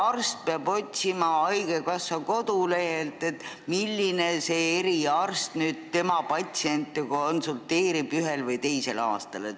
Miks peab perearst otsima haigekassa kodulehelt, milline eriarst tema patsiente ühel või teisel aastal konsulteerib?